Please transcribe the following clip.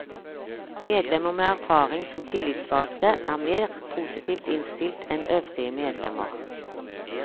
Medlemmer med erfaring som tillitsvalgte er mer positivt innstilt enn øvrige medlemmer.